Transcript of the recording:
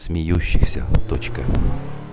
смеющихся точка